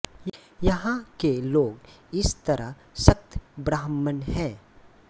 यहाँ के लोग इस तरह शक्त ब्राह्मण है